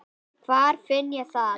Hvar finn ég það?